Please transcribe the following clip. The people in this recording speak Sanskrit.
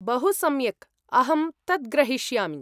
बहुसम्यक्, अहं तत् ग्रहीष्यामि।